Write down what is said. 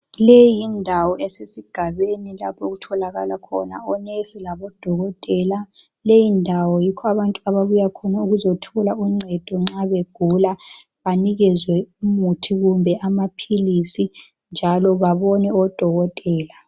Leyi yindawo esesigabeni lapho okutholakala khona omongikazi labo dokotela leyindawo yikho okubuha abantu bezothola ungcedo nxa begula banikezwe umuthi kumbe amapills njalo babone odokotela